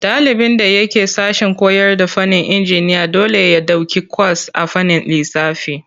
Ɗalibin da yake sashen koyarda fannin injiniya dole ya ɗauki kwas a fannin lissafi.